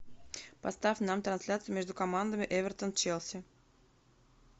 поставь нам трансляцию между командами эвертон челси